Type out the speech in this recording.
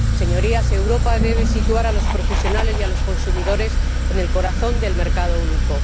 Señorías, Europa debe situar a los profesionales y a los consumidores en el corazón del Mercado Único.